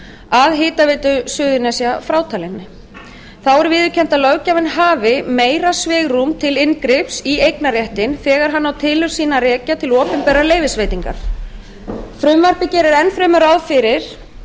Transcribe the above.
að hitaveitu suðurnesja frátalinni þá er viðurkennt að löggjafinn hafi meira svigrúm til inngrips í eignarréttinn þegar hann á tilurð sína að rekja til opinberrar leyfisveitingar frumvarpið gerir enn fremur ráð fyrir